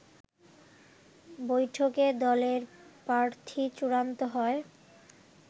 বৈঠকে দলের প্রার্থী চূড়ান্ত হয়